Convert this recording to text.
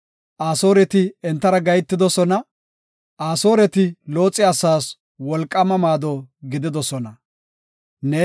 Asooreti entara gahetidosona; Asooreti Looxe asaas wolqaama maado gididosona. Salaha